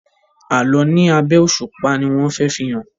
Àlọ ní abé òṣùpá ní wón fè fihàn.